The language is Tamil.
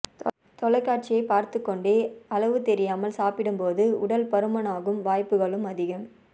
தொலைக்காட்சியைப் பார்த்துக்கொண்டே அளவு தெரியாமல் சாப்பிடும்போது உடல் பருமனாகும் வாய்ப்புகளும் அதிகம்